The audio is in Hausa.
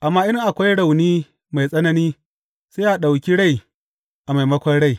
Amma in akwai rauni mai tsanani, sai a ɗauki rai a maimakon rai,